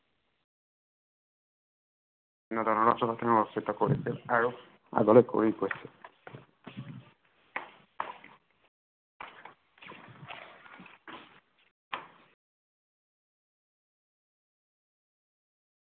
আৰু আগলে কৰি গৈছিল